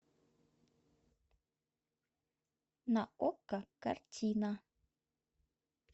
на окко картина